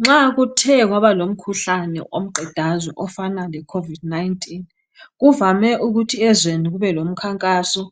nxa kuthe kwaba lomkhuhlane womqedazwe ofana le covid 19 kuvame ukuthi ezweni kube lomkhankaso